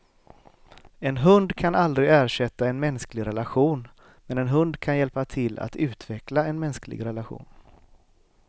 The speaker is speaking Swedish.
En hund kan aldrig ersätta en mänsklig relation, men en hund kan hjälpa till att utveckla en mänsklig relation.